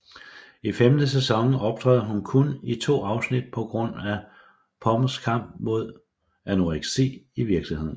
I femte sæson optræder hun kun i to afsnit på grund af Pomers kamp mod anoreksi i virkeligheden